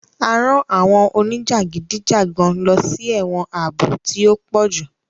A rán àwọn onijagidijagan lọsí ẹwọn ààbò tí o pojú